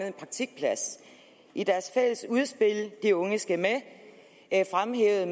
en praktikplads i deres fælles udspil de unge skal med fremhævede